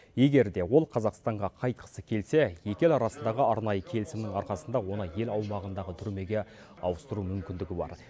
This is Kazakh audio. егер де ол қазақстанға қайтқысы келсе екі ел арасындағы арнайы келісімнің арқасында оны ел аумағындағы түрмеге ауыстыру мүмкіндігі бар